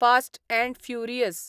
fast and furious